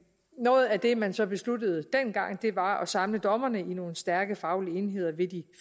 noget af det man så besluttede dengang var at samle dommerne i nogle stærke faglige enheder ved de